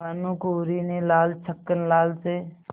भानकुँवरि ने लाला छक्कन लाल से